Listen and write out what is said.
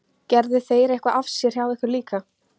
Gerðu þeir eitthvað af sér hjá ykkur líka?